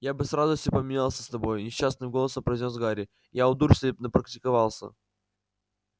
я бы с радостью поменялся с тобой несчастным голосом произнёс гарри я у дурслей напрактиковался